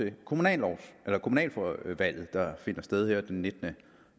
et kommunalvalg der finder sted her den nittende